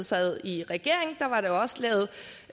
sad i regering